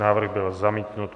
Návrh byl zamítnut.